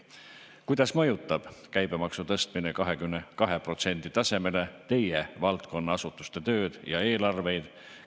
Kuidas mõjutab käibemaksu tõstmine 22% tasemele teie valdkonna asutuste tööd ja eelarveid?